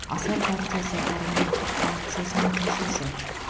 асар партиясы парламенттік фракциясының мүшесі